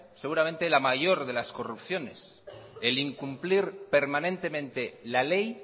seguramente la mayor de las corrupciones el incumplir permanentemente la ley